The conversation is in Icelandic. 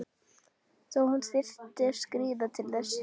Þó hún þyrfti að skríða til þess.